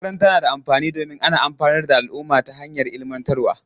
Makaranta na da amfani domin ana amfanar da al'umma ta hanyar ilmantarwa.